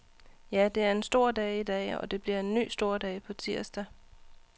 Ja, det er en stor dag i dag, og det bliver en ny stor dag på tirsdag.